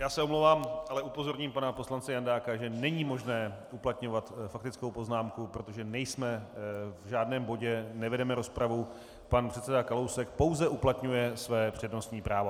Já se omlouvám, ale upozorním pana poslance Jandáka, že není možné uplatňovat faktickou poznámku, protože nejsme v žádném bodě, nevedeme rozpravu, pan předseda Kalousek pouze uplatňuje své přednostní právo.